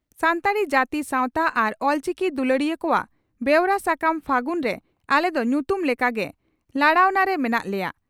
ᱥᱟᱱᱛᱟᱲᱤ ᱡᱟᱹᱛᱤ ᱥᱟᱣᱛᱟ ᱟᱨ ᱚᱞᱪᱤᱠᱤ ᱫᱩᱞᱟᱹᱲᱤᱭᱟᱹ ᱠᱚᱣᱟᱜ ᱵᱮᱣᱨᱟ ᱥᱟᱠᱟᱢ 'ᱯᱷᱟᱹᱜᱩᱱ' ᱨᱮ ᱟᱞᱮ ᱫᱚ ᱧᱩᱛᱩᱢ ᱞᱮᱠᱟ ᱜᱮ ᱞᱟᱲᱟᱣᱱᱟ ᱨᱮ ᱢᱮᱱᱟᱜ ᱞᱮᱭᱟ ᱾